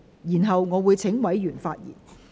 然後，我會請委員發言。